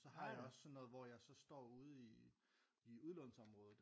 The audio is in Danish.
Og så har jeg også sådan noget hvor jeg står ude i udlånsområdet